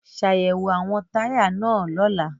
Ṣayẹwo awọn taya naa lọla!